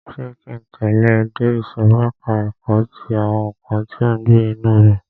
Ṣé ki ń tẹ̀lẹ́ ẹ dé ìsòrí ẹka ẹ̀kọ́ ti àwọn nǹkan tí ó ń gbé inú omi?